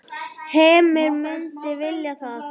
Heimir: Myndirðu vilja það?